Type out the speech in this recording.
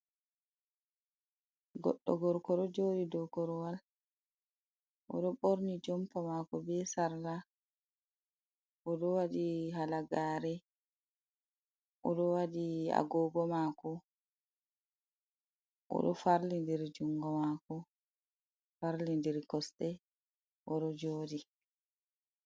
Goɗɗo gorko joɗi do koruwal, oɗo ɓorni jompa mako be sarla, oɗo waɗi halagare, oɗo waɗi agogo mako, oɗo farli diri jungo mako farli diri kosɗe oɗo jodi.